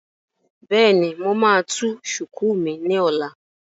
Bẹ́ẹ̀ni, mo máa tú shùkú mi ní ọ̀la